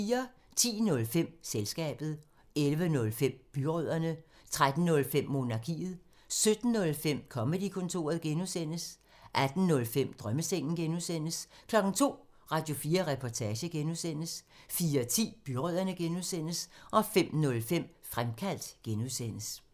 10:05: Selskabet 11:05: Byrødderne 13:05: Monarkiet 17:05: Comedy-kontoret (G) 18:05: Drømmesengen (G) 02:00: Radio4 Reportage (G) 04:10: Byrødderne (G) 05:05: Fremkaldt (G)